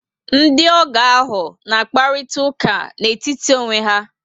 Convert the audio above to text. Ndiogo ahụ na akparita ụka n etítì onwe ya